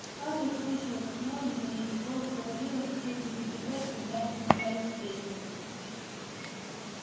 скарлетт слышала как мелани понизив голос говорила тёте питтипэт когда они спускались с лестницы